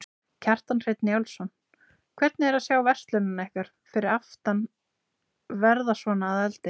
Kjartan Hreinn Njálsson: Hvernig er að sjá verslunina ykkar fyrir aftan verða svona að eldi?